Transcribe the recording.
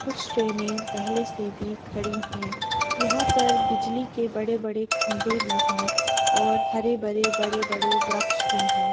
कुछ ट्रैनें पहले से भी खड़ी हैं। यहां पर बिजली के बड़े-बड़े खम्बे भी हैं और हरे-भरे बड़े-बड़े वृक्ष भी हैं।